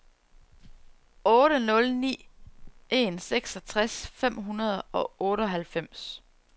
otte nul ni en seksogtres fem hundrede og otteoghalvfems